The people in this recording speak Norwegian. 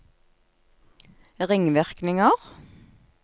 ringvirkninger